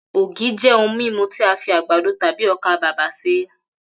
Ògì jé̩ ohun mímu tí a fi àgbàdo tàbí o̩kàbàbà s̩e